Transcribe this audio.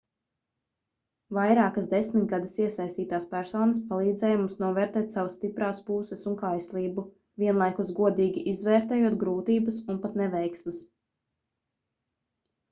vairākas desmitgades iesaistītās personas palīdzēja mums novērtēt savas stiprās puses un kaislību vienlaikus godīgi izvērtējot grūtības un pat neveiksmes